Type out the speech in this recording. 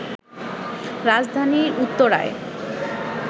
রাজধানীর উত্তরায়